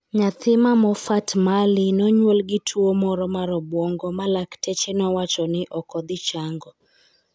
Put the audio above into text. niyathi ma Mofat Mali ni e oniyuol gi tuwo moro mar obwonigo ma lakteche nowacho nii ni e ok dhi chanigo.